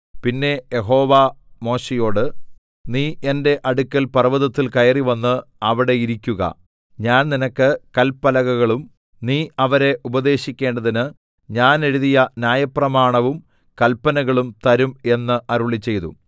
പിന്നെ യഹോവ മോശെയോട് നീ എന്റെ അടുക്കൽ പർവ്വതത്തിൽ കയറിവന്ന് അവിടെ ഇരിയ്ക്കുക ഞാൻ നിനക്ക് കല്പലകകളും നീ അവരെ ഉപദേശിക്കേണ്ടതിന് ഞാൻ എഴുതിയ ന്യായപ്രമാണവും കല്പനകളും തരും എന്ന് അരുളിച്ചെയ്തു